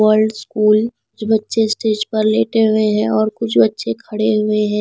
World school बच्चे stage पर लेटे हुए हैं और कुछ बच्चे खड़े हुए हैं।